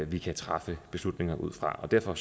vi kan træffe beslutninger ud fra derfor